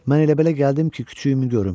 Mən elə-belə gəldim ki, küçüyümü görüm.